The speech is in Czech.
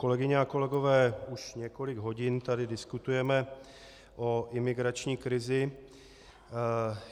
Kolegyně a kolegové, už několik hodin tady diskutujeme o imigrační krizi.